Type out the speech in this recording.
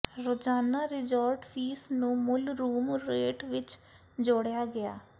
ਰੋਜ਼ਾਨਾ resort fee ਨੂੰ ਮੂਲ ਰੂਮ ਰੇਟ ਵਿਚ ਜੋੜਿਆ ਗਿਆ